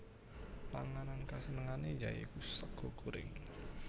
Panganan kasenengane ya iku sega goreng